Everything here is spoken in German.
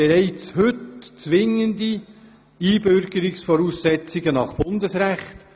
Dabei handelt es sich um zwingende Einbürgerungsvoraussetzungen nach Bundesrecht.